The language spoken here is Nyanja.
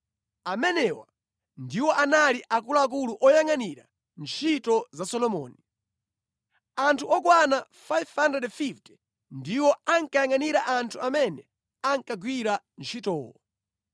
Amenewa ndiwo anali akuluakulu oyangʼanira ntchito za Solomoni. Anthu okwana 550 ndiwo ankayangʼanira anthu amene ankagwira ntchitowo.